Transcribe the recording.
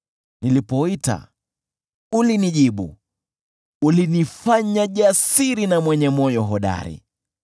Nilipoita, ulinijibu; ulinifanya jasiri na mwenye moyo hodari.